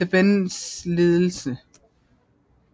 Thebens ledelse